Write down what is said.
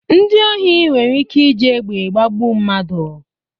Ndị ohi nwere ike iji egbe gbagbu mmadụ.